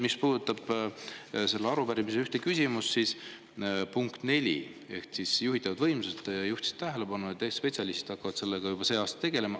Mis puudutab selle arupärimise ühte küsimust, punkt 4 juhitavate võimsuste kohta, siis te juhtisite tähelepanu, et spetsialistid hakkavad sellega juba sel aastal tegelema.